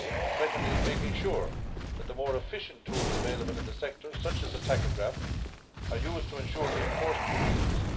Secondly, making sure that the more efficient tools available in the sectors, such as the tachograph, are used to ensure the enforcement of the rules.